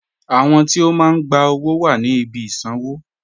Àwọn tí o máa n gbà owó wà ní ìbí ìṣanwọ̀